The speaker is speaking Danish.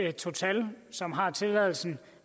at total som har tilladelsen